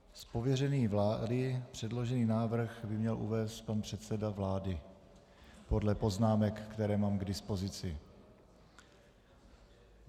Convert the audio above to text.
Z pověření vlády předložený návrh by měl uvést pan předseda vlády podle poznámek, které mám k dispozici.